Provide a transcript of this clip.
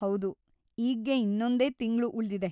ಹೌದು, ಈಗ್ಗೆ ಇನ್ನೊಂದೇ ತಿಂಗ್ಳು ಉಳ್ದಿದೆ.